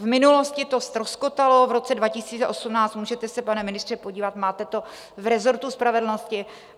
V minulosti to ztroskotalo v roce 2018, můžete se, pane ministře, podívat, máte to v resortu spravedlnosti.